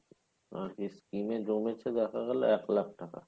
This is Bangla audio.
আ~ skim জমেছে দেখা গেলো আট লাখ টাকা